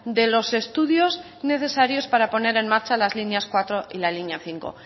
de los estudios necesarios para poner en marcha las líneas cuatro y la línea cinco